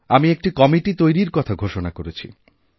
আমি একটি কমিটি তৈরির কথা ঘোষণা করেছি